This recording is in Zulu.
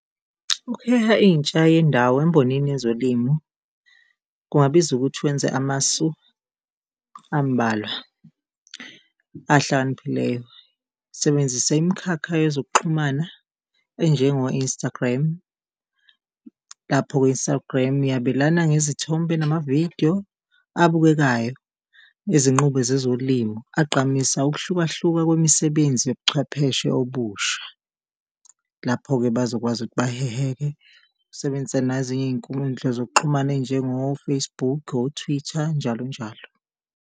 Ukuheha intsha yendawo embhonini yezolimo kungabiza ukuthi wenze amasu ambalwa ahlakaniphileyo. Sebenzisa imikhakha yezokuxhumana enjengo-Instagram, lapho ku-Instagram yabelana ngezithombe namavidiyo abukekayo izinqubo zezolimo, agqamisa ukuhlukahluka kwemisebenzi yobuchwepheshe obusha. Lapho-ke bazokwazi ukuthi baheheke, usebenzise nezinye iyinkundla zokuxhumana ezinjengo-Facebook, o-Twitter njalo njalo.